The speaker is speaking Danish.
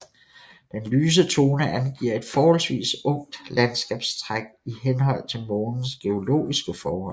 Den lyse tone angiver et forholdsvis ungt landskabstræk i henhold til Månens geologiske forhold